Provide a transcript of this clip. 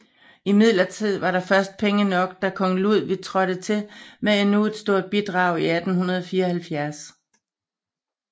Imidlertid var der først penge nok da kong Ludwig trådte til med endnu et stort bidrag i 1874